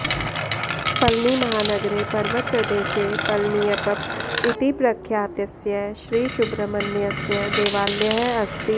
पळनीमहानगरे पर्वतप्रदेशे पळनियप्प इति प्रख्यातस्य श्री सुब्रह्मण्यस्य देवालयः अस्ति